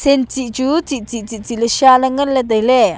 sensih chu sih sih sih sih le sha le nganle taile.